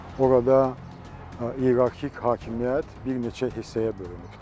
Orada ierarxik hakimiyyət bir neçə hissəyə bölünübdür.